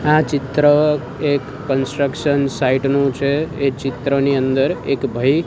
આ ચિત્ર એક કન્સ્ટ્રક્શન સાઇટ નું છે એ ચિત્રની અંદર એક ભય --